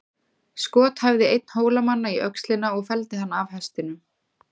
Skot hæfði einn Hólamanna í öxlina og felldi hann af hestinum.